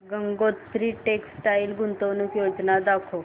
Gangotri textile गुंतवणूक योजना दाखव